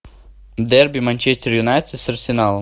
дерби манчестер юнайтед с арсеналом